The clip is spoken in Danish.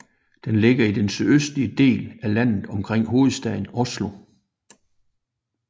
Den ligger i den sydøstligste del af landet omkring hovedstaden Oslo